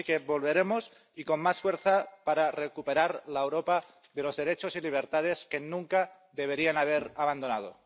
Así que volveremos, y con más fuerza, para recuperar la Europa de los derechos y libertades que nunca deberían haber abandonado.